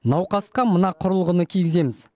науқасқа мына құрылғыны кигіземіз